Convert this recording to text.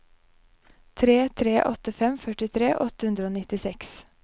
tre tre åtte fem førtifire åtte hundre og nittiseks